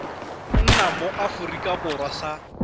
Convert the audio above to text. nna mo aforika borwa sa